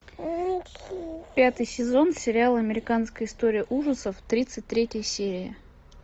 пятый сезон сериала американская история ужасов тридцать третья серия